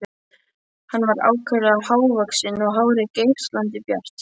Hann var ákaflega hávaxinn og hárið geislandi bjart.